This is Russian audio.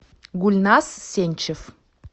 гульназ сенчев